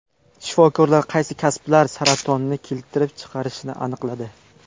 Shifokorlar qaysi kasblar saratonni keltirib chiqarishini aniqladi.